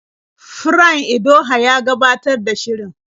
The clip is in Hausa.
Fran Idoho yake gabatar da shirin.